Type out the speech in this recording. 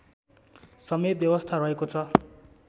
समेत व्यवस्था रहेको छ